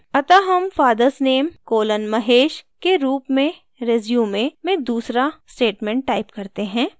अतः name fathers name colon mahesh के रूप में रिज्यूमे में दूसरा statement type करते हैं